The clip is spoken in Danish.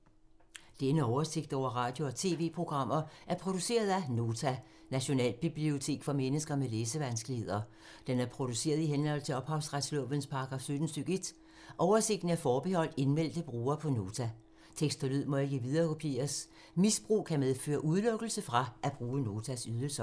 Denne oversigt over radio og TV-programmer er produceret af Nota, Nationalbibliotek for mennesker med læsevanskeligheder. Den er produceret i henhold til ophavsretslovens paragraf 17 stk. 1. Oversigten er forbeholdt indmeldte brugere på Nota. Tekst og lyd må ikke viderekopieres. Misbrug kan medføre udelukkelse fra at bruge Notas ydelser.